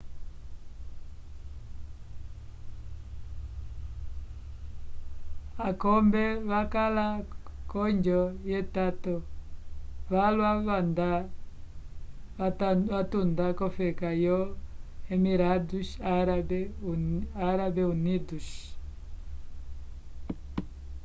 akombe vakala k'oonjo yetato valwa kwendavatunda k'ofeka yo emirados árabe unidos